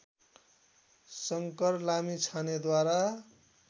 Shankar लामिछानेद्वारा